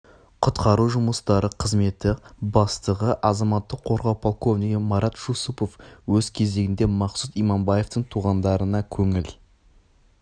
құтқару жұмыстары қызметі бастығы азаматтық қорғау пролковнигі марат жусупов өз кезегінде мақсұт иманбаевтың туғандарына көңіл